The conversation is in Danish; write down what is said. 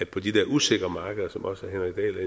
på de der usikre markeder som også herre